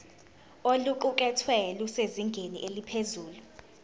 oluqukethwe lusezingeni eliphezulu